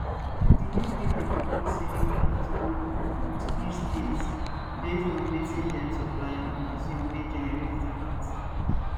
di new bill dey propose say make vat go um to each state based on wetin dem supply and consume wey generate di vat